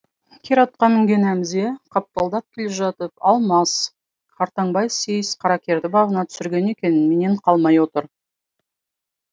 кер атқа мінген әмзе қапталдап келе жатып алмас қартаңбай сейіс қаракерді бабына түсірген екен менен қалмай отыр